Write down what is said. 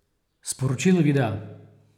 Sporočilo videa?